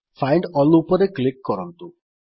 find all ଉପରେ click କରନ୍ତୁ